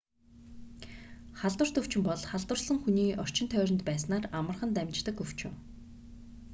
халдварт өвчин бол халдварласан хүний орчин тойронд байснаар амархан дамждаг өвчин